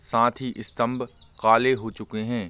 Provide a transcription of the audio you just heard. साथ ही स्तंभ काले हो चुके है।